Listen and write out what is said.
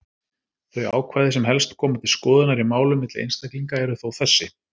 Þau ákvæði sem helst koma til skoðunar í málum milli einstaklinga eru þó þessi: